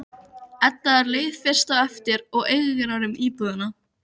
Edda er leið fyrst á eftir og eigrar um íbúðina.